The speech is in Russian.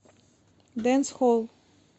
дэнсхолл